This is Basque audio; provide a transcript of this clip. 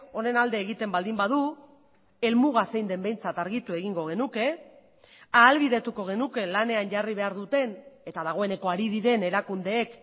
honen alde egiten baldin badu helmuga zein den behintzat argitu egingo genuke ahalbidetuko genuke lanean jarri behar duten eta dagoeneko ari diren erakundeek